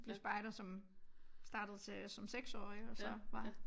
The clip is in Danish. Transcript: Blev spejder som startede til som 6 årig og så var